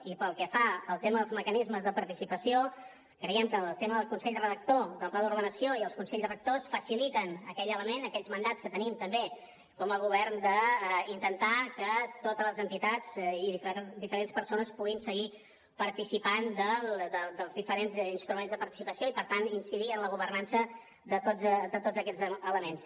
i pel que fa al tema dels mecanismes de participació creiem que el tema del consell rector del pla d’ordenació i els consells rectors faciliten aquell element aquells mandats que tenim també com a govern d’intentar que totes les entitats i diferents persones puguin seguir participant dels diferents instruments de participació i per tant incidir en la governança de tots aquests elements